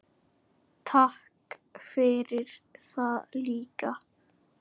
Takk fyrir það líka.